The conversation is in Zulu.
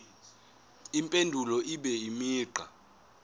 impendulo ibe imigqa